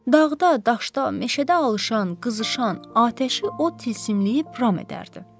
Dağda, daşda, meşədə alışan, qızışan atəşi o tilsimliyib ram edərdi.